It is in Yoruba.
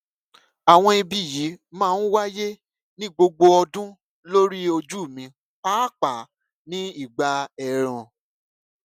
àwọn ibi yìí máa ń wáyé ní gbogbo ọdún lórí ojú mi pàápàá ní ìgbà èèrùn